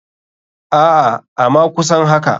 Aa ama kusan haka.